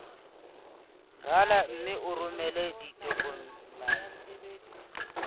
rala mme o romele ditokomene